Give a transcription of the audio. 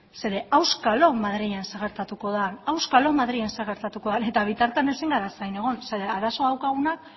zeren auskalo madrilen zer gertatuko da auskalo madrilen zer gertatuko den eta bitartean ezin gara zain egon zeren arazoa daukagunak